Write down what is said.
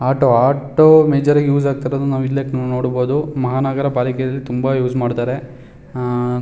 auto auto use ಆಗ್ತಿರೋದು major ಆಗಿ ನೋಡಬೋದು ಮಹಾನಗರ ಪಾಲಿಕೆ ತುಂಬ ಉಸ್ ಮಾಡ್ತಾರೆ ಅಅ--